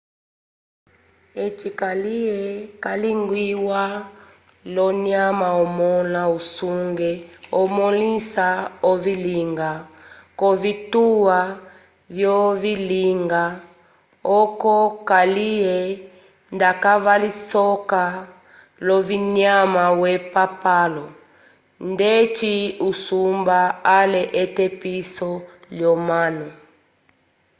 eci kaliye calingiwa l’onyama omõla wusenge omõlisa ovilinga k’ovituwa vyovilinga oco kaliye ndavakalisoka l’ovinyama vyepapalo ndeci usumba ale etepiso l’omanu